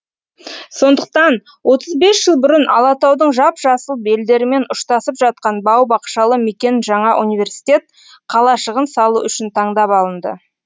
сондықтан отыз бес жыл бұрын алатаудың жап жасыл белдерімен ұштасып жатқан бау бақшалы мекен жаңа университет қалашығын салу үшін таңдап алынды